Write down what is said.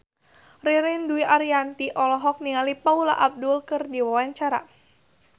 Ririn Dwi Ariyanti olohok ningali Paula Abdul keur diwawancara